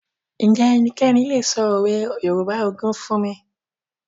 Ǹjẹ́ ẹnikẹ́ni lè sọ òwe Yorùbá ogún fún mi?